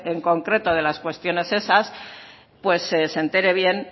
en concreto de las cuestiones esas pues se entere bien